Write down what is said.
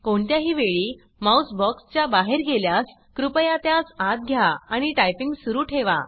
कोणत्याही वेळी mouse box च्या बाहेर गेल्यास कृपया त्यास आत घ्या आणि टाइपिंग सुरू ठेवा